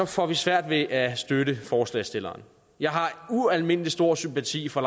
får vi svært ved at støtte forslagsstillerne jeg har ualmindelig stor sympati for